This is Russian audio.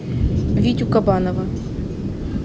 витю кабанова